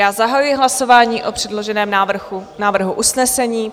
Já zahajuji hlasování o předloženém návrhu usnesení.